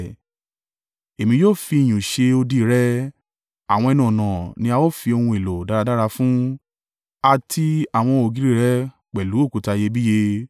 Èmi yóò fi iyùn ṣe odi rẹ, àwọn ẹnu-ọ̀nà ni a ó fi ohun èlò dáradára fún, àti àwọn ògiri rẹ pẹ̀lú òkúta iyebíye.